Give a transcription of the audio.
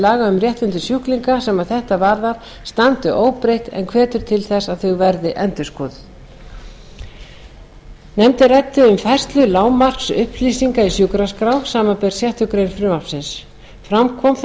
um réttindi sjúklinga sem þetta varðar standi óbreytt en hvetur til þess að þau verði endurskoðuð nefndin ræddi um færslu lágmarksupplýsinga í sjúkraskrá samanber sjöttu greinar frumvarpsins fram kom það